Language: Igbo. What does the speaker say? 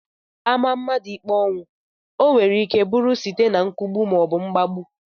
A maa mmadụ ikpe ọnwụ, ọ nwereike bụrụ site na nkwụgbu maọbụ mgbagbu